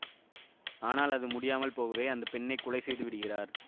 ஆனால் அது முடியாமல் போகவே அந்த பெண்ணை கொலை செய்து விடுகிறார்